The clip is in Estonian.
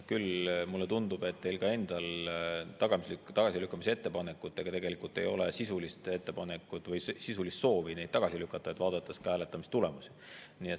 Küll mulle tundub, et teil endal ei ole tagasilükkamise ettepanekute puhul tegelikult sisulist soovi neid tagasi lükata, vaadates ka hääletamistulemusi.